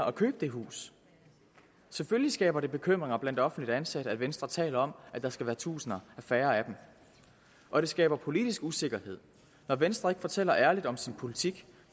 og købe det hus selvfølgelig skaber det bekymringer blandt offentligt ansatte at venstre taler om at der skal være tusinder færre af dem og det skaber politisk usikkerhed når venstre ikke fortæller ærligt om sin politik